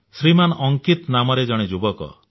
ଶ୍ରୀମାନ୍ ଅଙ୍କିତ ନାମରେ ଜଣେ ଯୁବକ